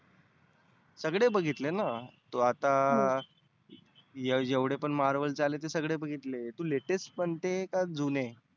सगळे बघितलेना. तो आता जेव्हढे पण marvel चे आले ते सगळे बघितले तु latest म्हणते का जुने?